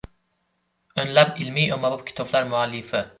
O‘nlab ilmiy-ommabop kitoblar muallifi.